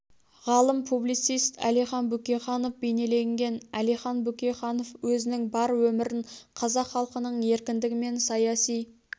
ғалым публицист әлихан бөкейханов бейнеленген әлихан бөкейханов өзінің бар өмірін қазақ халқының еркіндігі мен саяси